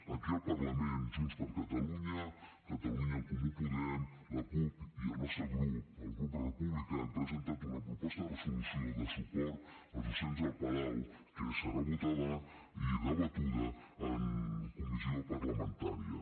aquí al parlament junts per catalunya catalunya en comú podem la cup i el nostre grup el grup republicà hem presentat una proposta de resolució de suport als docents d’el palau que serà votada i debatuda en comissió parlamentària